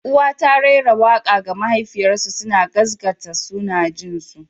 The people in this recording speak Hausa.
Uwa ta raira waƙa ga mahaifarsu suna gaskata suna jin su.